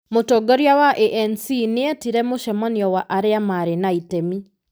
Mũtongoria wa ANC nĩ etire mũcemanio wa arĩa marĩ na itemi.